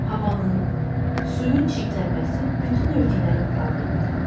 Havanın, suyun çirklənməsi bütün ölkələrin problemidir.